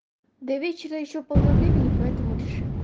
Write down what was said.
до вечера ещё полно времени поэтому решим